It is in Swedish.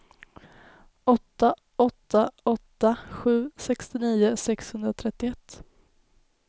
åtta åtta åtta sju sextionio sexhundratrettioett